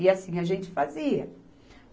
E assim a gente fazia.